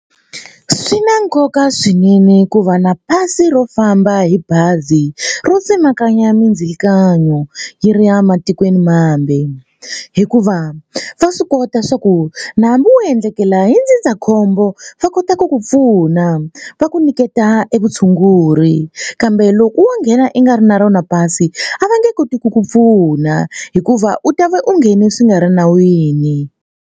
Swi na nkoka swinene ku va na pasi ro famba hi bazi ro tsemakanya mindzilikano yi ri ya matikwenimambe hikuva va swi kota swa ku na hambi wo endlekela hi ndzindzakhombo va kota ku ku pfuna va ku nyiketa e vutshunguri kambe loko wo nghena i nga ri na rona pasi a va nge koti ku ku pfuna hikuva u ta va u nghene swi nga ri nawini.